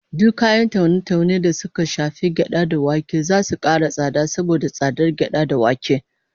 Duk kayan taune-taune da suka shafi gyada da wake zasu kara tsada saboda tsadar gyada da wake